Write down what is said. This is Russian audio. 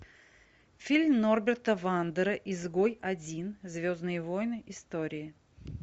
фильм норберта вандера изгой один звездные войны истории